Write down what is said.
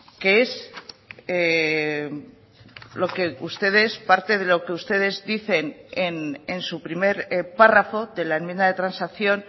que es lo que ustedes parte de lo que ustedes dicen en su primer párrafo de la enmienda de transacción